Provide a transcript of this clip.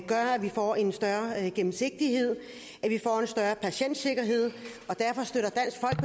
gør at vi får en større gennemsigtighed at vi får en større patientsikkerhed